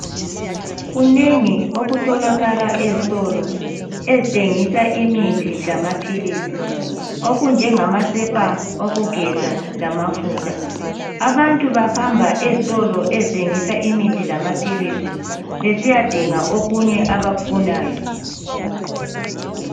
Kunengi okutholakala ezitolo ezithengisa imithi lama philisi okunjengama sepa okugeza lamafutha. Abantu bahamba ezitolo ezithengisa imithi lama philisi besiya dinga okunye abakufunayo.